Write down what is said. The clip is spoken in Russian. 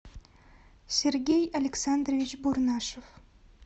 сергей александрович бурнашев